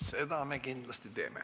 Seda me kindlasti teeme.